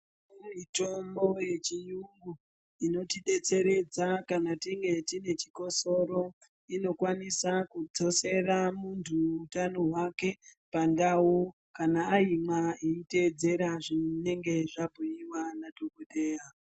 Mitombo yechiyungu inotidetseredza kana tine chikotsoro inokwanisa kudzosera munthu utano hwake pandau kana aimwa eiteedzera zvinenge zvabhuiwa nadhokodheya.